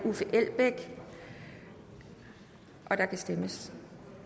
og der kan stemmes